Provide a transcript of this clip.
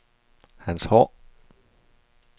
Hans Haahr